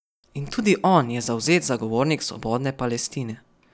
In tudi on je zavzet zagovornik svobodne Palestine.